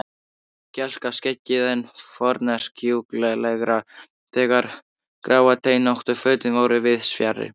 Kjálkaskeggið enn forneskjulegra þegar gráteinóttu fötin voru víðs fjarri.